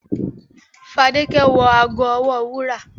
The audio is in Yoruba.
The woman wore a golden bracelet to the party